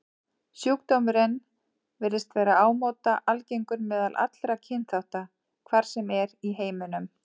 Sjúkdómurinn virðist vera ámóta algengur meðal allra kynþátta, hvar sem er í heiminum.